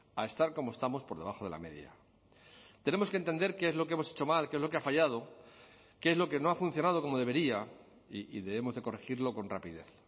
a estar como estamos por debajo de la media tenemos que entender qué es lo que hemos hecho mal qué es lo que ha fallado qué es lo que no ha funcionado como debería y debemos de corregirlo con rapidez